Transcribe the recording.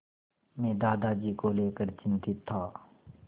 मैं दादाजी को लेकर चिंतित था